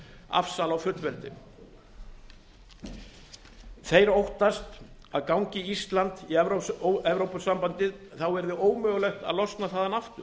afsal á fullveldi þeir óttast að gangi ísland í evrópusambandið verði ómögulegt að losna þaðan aftur